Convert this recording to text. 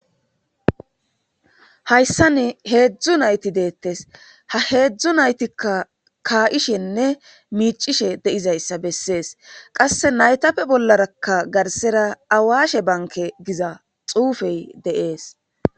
Hayssan heezhzhu nayti dettes ha hezhzhu naytikka ka7ishenne miccishe deizayssa beses qasse naytappe bollaraka garssera awashe bankke giza xuufey dessi.